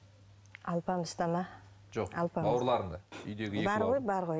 алпамыста ма жоқ бауырларында бар ғой бар ғой